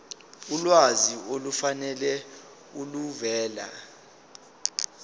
ulwazi olufanele oluvela